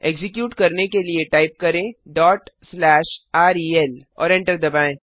execute करने के लिए टाइप करें rel और एंटर दबाएँ